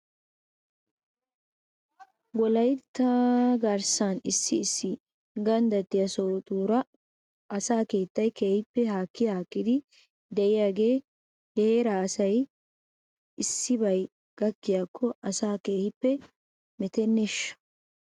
Wolaytta garssan issi issi ganddattiyaa sohotuura asaa keettay keehippe haakihaakkidi de'iyaagee he heeraa asay issibay gakkiko asaa keehippe meteneeshsha ?